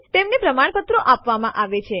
તેમના વિશે વધુ જાણવા માન આદેશની મદદ લો